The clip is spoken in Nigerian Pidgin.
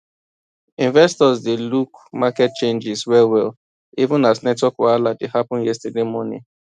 investors dey look market changes wellwell even as network wahala dey happen yesterday morning